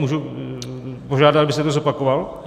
Můžu požádat, abyste to zopakoval?